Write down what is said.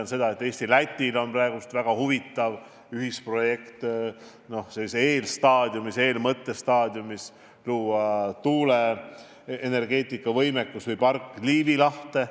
Ma tean, et Eestil on praegu sellises nn eelstaadiumis väga huvitav ühisprojekt Lätiga, et luua tuuleenergiapark Liivi lahte.